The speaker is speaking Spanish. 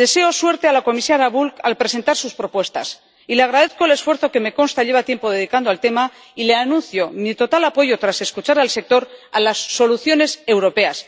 deseo suerte a la comisaria Bulc al presentar sus propuestas, y le agradezco el esfuerzo que —me consta— lleva tiempo dedicando al tema, y le anuncio mi total apoyo, tras escuchar al sector, a las soluciones europeas.